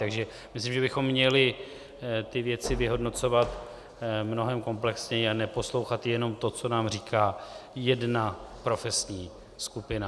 Takže myslím, že bychom měli ty věci vyhodnocovat mnohem komplexněji a neposlouchat jenom to, co nám říká jedna profesní skupina.